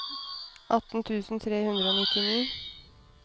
atten tusen tre hundre og nittini